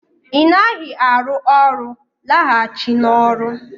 Ị naghị arụ ọrụ, laghachi n'ọrụ